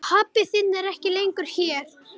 Pabbi þinn er ekki lengur hér.